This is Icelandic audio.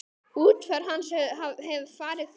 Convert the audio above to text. Útför hans hefur farið fram.